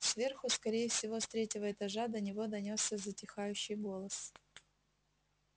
сверху скорее всего с третьего этажа до него донёсся затихающий голос